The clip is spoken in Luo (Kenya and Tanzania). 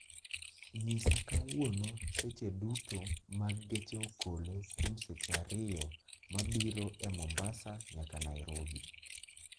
nyisa kawuono seche duto mag geche okolo kuom seche ariyo mabiro e mombasa nyaka nairobi